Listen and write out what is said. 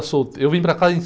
solte. Eu vim para cá em